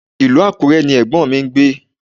Ilú Àkúrẹ ni ẹ̀gbọ́m mi gbé